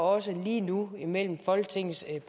også lige nu imellem folketingets